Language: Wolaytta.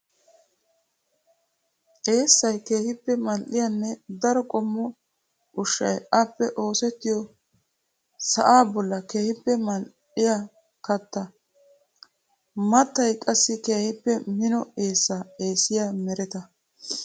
Eessay keehippe mali'iyanne daro qommo ushshay appe oosettiyo sa'a bolla keehippe mali'iya katta. Mattay qassi keehippe mino eessa eessiya meretta.